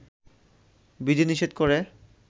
বিধি নিষেধ করে